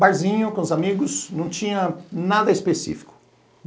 Barzinho com os amigos, não tinha nada específico.